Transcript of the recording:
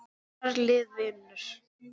Hennar lið vinnur.